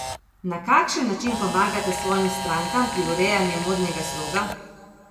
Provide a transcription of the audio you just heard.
Na kakšen način pomagate svojim strankam pri urejanju modnega sloga?